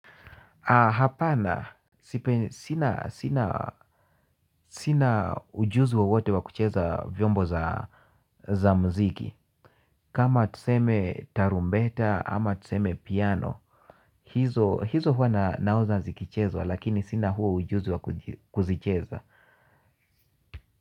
Hapana, sina ujuzi wa wote wa kucheza vyombo za muziki. Kama tuseme tarumbeta ama tuseme piano. Hizo huwa naona zikichezwa lakini sina huo ujuzi wa kuzicheza.